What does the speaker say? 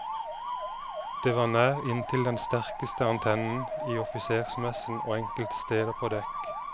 Det var nær inntil den sterkeste antennen, i offisersmessen og enkelte steder på dekk.